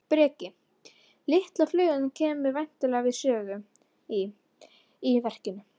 Breki: Litla flugan kemur væntanlega við sögu í, í verkinu?